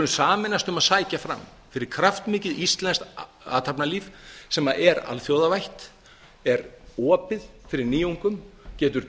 sameinast um að sækja fram fyrir kraftmikið íslenskt athafnalíf sem er alþjóðavætt er opið fyrir nýjungum getur